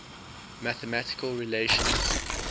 mathematical relations